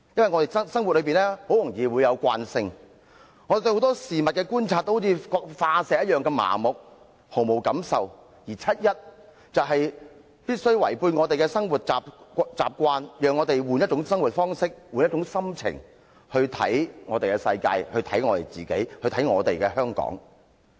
我們在生活中，很容易產生慣性，對很多事物的觀察都好像化石般麻木，毫無感受，而七一遊行讓我們改變生活習慣，讓我們換一種生活方式，換一種心情來看我們的世界，看我們自己，看我們的香港。